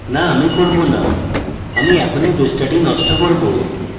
no um করব no um এখনই পৃষ্ঠাটি নষ্ট করব